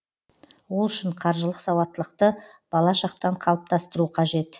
ол үшін қаржылық сауаттылықты бала шақтан қалыптастыру қажет